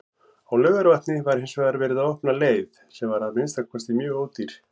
Á Laugarvatni var hinsvegar verið að opna leið, sem var að minnsta kosti mjög ódýr.